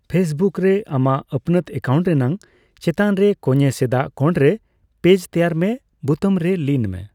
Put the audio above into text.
ᱯᱷᱮᱥᱵᱩᱠᱨᱮ ᱟᱢᱟᱜ ᱟᱹᱯᱱᱟᱹᱛ ᱮᱠᱟᱣᱩᱱᱴ ᱨᱮᱱᱟᱜ ᱪᱮᱛᱟᱱᱨᱮ ᱠᱚᱹᱧᱮ ᱥᱮᱫᱟᱜ ᱠᱚᱸᱲᱨᱮ 'ᱯᱮᱡᱽ ᱛᱮᱭᱟᱨ ᱢᱮ' ᱵᱩᱛᱟᱹᱢ ᱨᱮ ᱞᱤᱱ ᱢᱮ ᱾